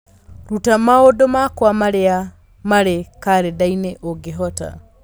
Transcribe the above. ruta maũndũ makwa marĩa marĩ karenda-inĩ ũngĩhota